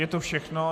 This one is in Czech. Je to všechno?